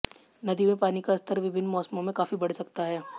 नदी में पानी का स्तर विभिन्न मौसमों में काफी बढ़ सकता है